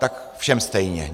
Tak všem stejně.